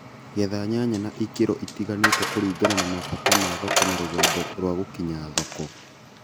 Getha nyanya na ikĩro itiganĩte kulingana na mabata ma thoko na rũgendo rwa gũkinya thoko